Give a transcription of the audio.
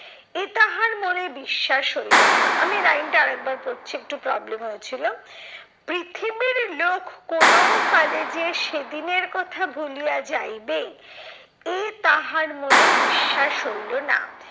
এ তাহার মনে বিশ্বাস হইলো না। আমি line টা আর একবার পড়ছি একটু problem হয়েছিল। পৃথিবীর লোক কোনোও কালে যে সেদিনের কথা ভুলিয়া যাইবে, এ তাহার মনে বিশ্বাস হইলো না।